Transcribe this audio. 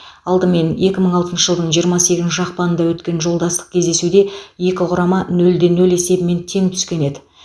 алдымен екі мың алтыншы жылдың жиырма сегізінші ақпанында өткен жолдастық кездесуде екі құрама нөлде нөл есебімен тең түскен еді